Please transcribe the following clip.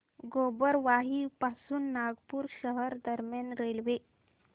गोबरवाही पासून नागपूर शहर दरम्यान रेल्वे